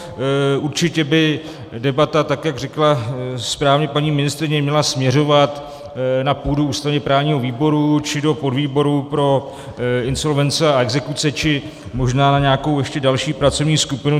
Určitě by debata, tak jak řekla správně paní ministryně, měla směřovat na půdu ústavně-právního výboru, či do podvýboru pro insolvence a exekuce, či možná na nějakou ještě další pracovní skupinu.